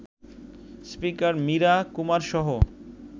speaker Meira কুমারসহ